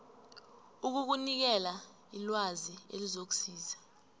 ukukunikela ilwazi elizokusiza